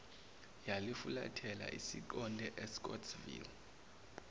yalifulathela isiqonde escottsville